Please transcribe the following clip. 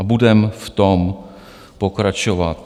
A budeme v tom pokračovat.